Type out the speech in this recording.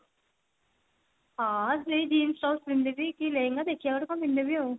ହଁ ସେଇ jeans top ପିନ୍ଧି ଦେଇ ଯିବି କି ଲେହେଙ୍ଗା ଦେଖିବା କଣ ଗୋଟେ ପିନ୍ଧିଦେବି ଆଉ